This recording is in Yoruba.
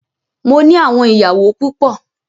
Mó ní àwọn ìyàwó púpọ.